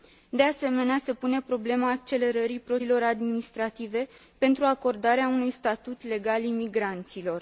De asemenea, se pune problema accelerării procedurilor administrative pentru acordarea unui statut legal imigranților.